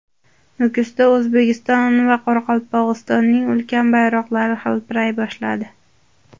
Nukusda O‘zbekiston va Qoraqalpog‘istonning ulkan bayroqlari hilpiray boshladi .